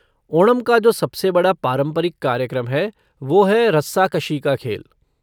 ओणम का जो सबसे बड़ा पारंपरिक कार्यक्रम है वो है रस्साकशी का खेल।